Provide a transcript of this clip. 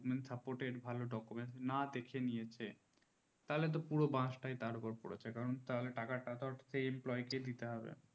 soft document না দেখে নিয়েছে তার উপর বাসতা তার উপর পড়েছে কারণ টাকা তা তো সেই employee কে দিতে হবে